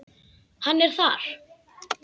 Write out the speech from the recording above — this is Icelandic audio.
Hann er þar.